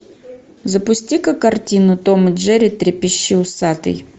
запусти ка картину том и джерри трепещи усатый